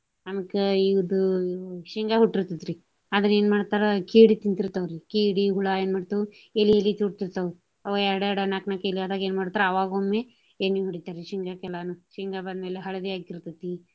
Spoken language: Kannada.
ಆಮ್ಯಾಕ ಇದು ಈ ಶೇಂಗಾ ಹುಟ್ಟಿರ್ತೆತ್ರಿ. ಆದ್ರ ಏನ ಮಾಡ್ತಾರ ಕೀಡಿ ತಿಂತಿರ್ತಾವ್ರಿ. ಕೀಡಿ, ಹುಳ ಏನ ಮಾಡ್ತಾವು ಇಲಿ ಇಲಿ ಚುಟತಿರ್ತಾವ ಅವ ಎರಡು ಎರಡು ನಾಕ ನಾಕ ಇಲಿ ಆದಾಗ ಏನ ಮಾಡ್ತಾರು ಅವಾಗೊಮ್ಮೆ ಎಣ್ಣಿ ಹೊಡಿತಾರಿ ಶೇಂಗಾಕ ಎಲ್ಲಾನು. ಶೇಂಗಾ ಬಂದ್ಮೇಲೆ ಹಳದಿ ಆಕ್ಕಿರ್ತೆತಿ.